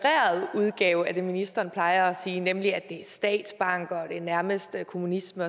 udgave af det ministeren plejer at sige nemlig at det er statsbanker og nærmest kommunisme